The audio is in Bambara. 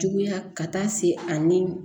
Juguya ka taa se a ni